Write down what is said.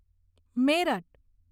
merit